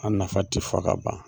An nafa ti fɔ ka ban.